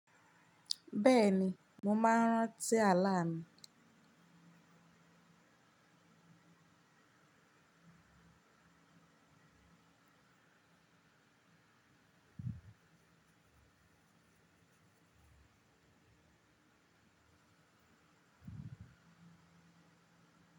Bẹ́ẹ̀ni, mo máa ń rántí ala mi.